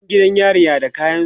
Yan gidan yari na da kayansu